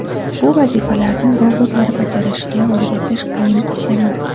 Bu vazifalarni robotlar bajarishiga o‘rgatish qiyin ish emas.